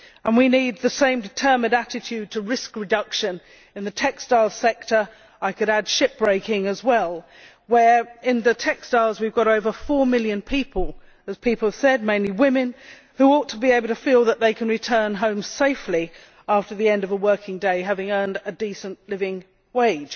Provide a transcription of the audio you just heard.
We need the same determined attitude to risk reduction in the textiles sector, and I could add shipbreaking as well. In the textiles sector we have over 4 million people, mainly women, who ought to be able to feel that they can return home safely after the end of a working day having earned a decent living wage.